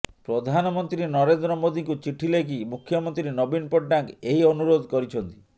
ପ୍ରଧାନମନ୍ତ୍ରୀ ନରେନ୍ଦ୍ର ମୋଦିଙ୍କୁ ଚିଠି ଲେଖି ମୁଖ୍ୟମନ୍ତ୍ରୀ ନବୀନ ପଟ୍ଟନାୟକ ଏହି ଅନୁରୋଧ କରିଛନ୍ତି